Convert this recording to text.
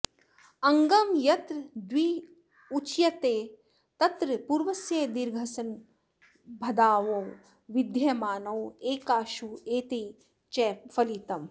अङ्गं यत्र द्विरुच्यते तत्र पूर्वस्य दीर्घसन्वद्भावौ विधीयमानौ एकाक्ष्वेवेति च फलितम्